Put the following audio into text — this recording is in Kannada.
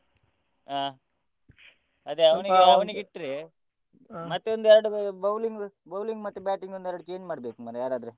ಆ ಅದೇ ಅವನಿಗೆ ಅವನಿಗೆ ಇಟ್ರೆ ಮತ್ತೆ ಒಂದೆರಡು bowling bowling ಮತ್ತೆ batting ಒಂದೆರಡು change ಮಾಡ್ಬೇಕು ಮಾರ್ರೆ ಯಾರಾದ್ರೆ.